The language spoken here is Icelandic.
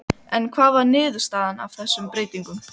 En hver var niðurstaðan af þessum breytingum?